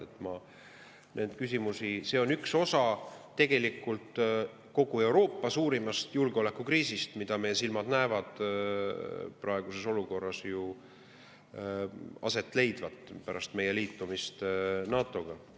See, mida meie silmad praeguses olukorras näevad, on tegelikult üks osa kogu Euroopa suurimast julgeolekukriisist pärast meie liitumist NATO‑ga.